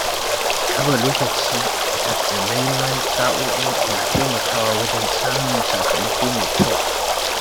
Raba lokaci a takamaiman sa’o’i na taimakawa wajen samun sakamako mai kyau.